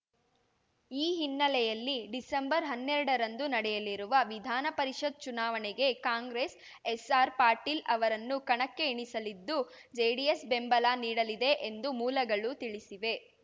ಈ ಹಿನ್ನೆಲೆಯಲ್ಲಿ ಡಿಸೆಂಬರ್ಹನ್ನೆರಡರಂದು ನಡೆಯಲಿರುವ ವಿಧಾನಪರಿಷತ್‌ ಚುನಾವಣೆಗೆ ಕಾಂಗ್ರೆಸ್‌ ಎಸ್‌ಆರ್‌ ಪಾಟೀಲ್‌ ಅವರನ್ನು ಕಣಕ್ಕೆ ಇಳಿಸಲಿದ್ದು ಜೆಡಿಎಸ್‌ ಬೆಂಬಲ ನೀಡಲಿದೆ ಎಂದು ಮೂಲಗಳು ತಿಳಿಸಿವೆ